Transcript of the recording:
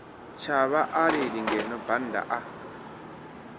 tsha vhaaleli ngeno bannda a